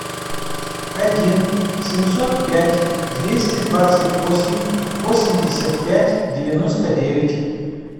один семьсот пять двести двадцать восемь восемьдесят пять девяносто девять